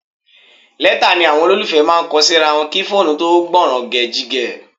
Lẹ́tà ni àwọn olólùfẹ́ máa ń kọ síra wọn kí fóònù tó gbọ̀nrẹ̀gẹ̀jigẹ̀